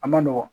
A ma nɔgɔn